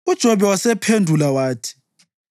UJobe wasephendula wathi: